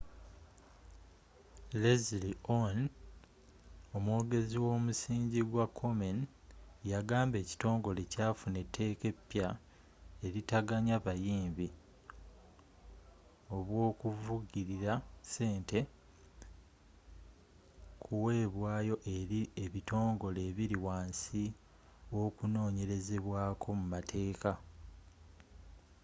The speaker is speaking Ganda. leslie aun omwogezi womusingi gwa komen yagamba ekitongole kyafuna etteeka epya eritaganya buyambi obwokuvugilira ssente kuweebwayo eri ebitongole ebiri wansi w'okunonyerezebwaako mu mateeka